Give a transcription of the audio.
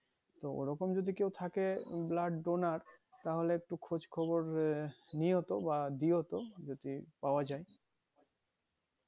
তো ওরকম যদি কেউ থাকে blood donor তাহলে একটু খোঁজ খবর নিয়তো বা দিওতো যদি পাওয়া যাই